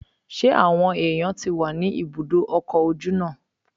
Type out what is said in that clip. Ṣé àwọn èèyàn tí wà ní ibùdó ọkọ̀ ojú náà?